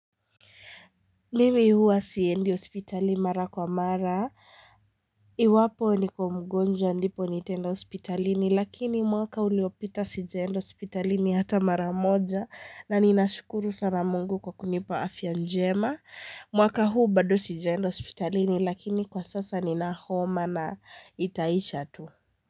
Mimi hua siendi hospitali mara kwa mara, iwapo nikiwa mgonjwa ndipo nitaenda hospitalini lakini mwaka uliopita sijaendo hospitalini hata mara moja na ninashukuru sana mungu kwa kunipa afya njema. Mwaka huu bado sijaenda hospitali ni lakini kwa sasa ni na homa na itaisha tu.